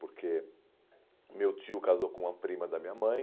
Porque meu tio casou com a prima da minha mãe,